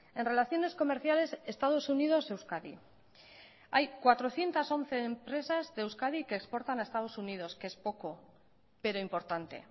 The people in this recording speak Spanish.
en relaciones comerciales estados unidos euskadi hay cuatrocientos once empresas de euskadi que exportan a estados unidos que es poco pero importante